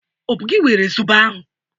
Ọ bụ gi were zọbọ ahụ?